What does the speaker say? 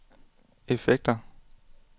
effekter